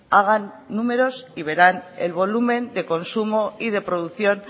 hagan números y verán el volumen de consumo y de producción